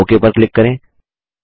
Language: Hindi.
ओक पर क्लिक करें